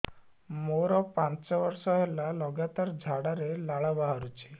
ମୋରୋ ପାଞ୍ଚ ବର୍ଷ ହେଲା ଲଗାତାର ଝାଡ଼ାରେ ଲାଳ ବାହାରୁଚି